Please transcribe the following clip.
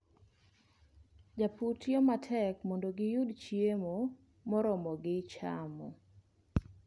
Jopur tiyo matek mondo giyud chiemo moromogi chamo.